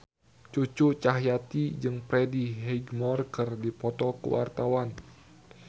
Cucu Cahyati jeung Freddie Highmore keur dipoto ku wartawan